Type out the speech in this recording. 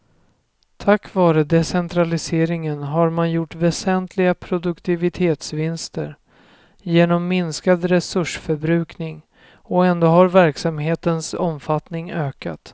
Tack vare decentraliseringen har man gjort väsentliga produktivitetsvinster genom minskad resursförbrukning och ändå har verksamhetens omfattning ökat.